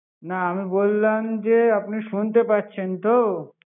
না আমি বললাম যে আপনি শুনেতে পারছেন তো